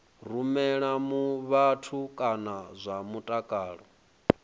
rumela vhathu kha zwa mutakalo